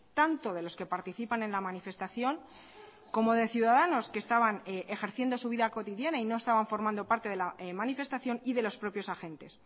tanto de los que participan en la manifestación como de ciudadanos que estaban ejerciendo su vida cotidiana y no estaban formando parte de la manifestación y de los propios agentes